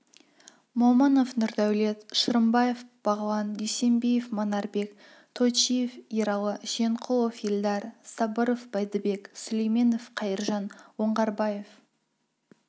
момынов нұрдәулет шырымбаев бағлан дүйсенбиев манарбек тойчиев ералы жиенқұлов елдар сабыров бәйдібек сүлейменов қайыржан оңғарбаев